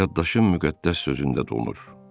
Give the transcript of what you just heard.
Yaddaşım müqəddəs sözündə donur.